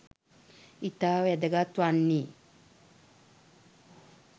ඉතා වැදගත් වන්නේ "